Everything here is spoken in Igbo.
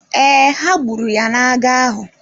Ee, ha gburu ya n’agha ahụ.